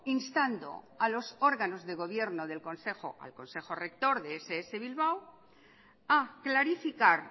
instando a los órganos de gobierno del consejo rector de ess bilbao a clarificar